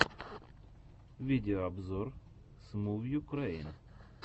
видеообзор смувюкрэйн